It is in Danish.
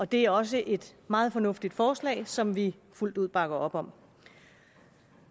det er også et meget fornuftigt forslag som vi fuldt ud bakker op om